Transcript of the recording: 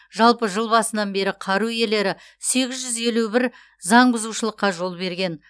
жалпы жыл басынан бері қару иелері сегіз жүз елу бір заң бұзушылыққа жол берген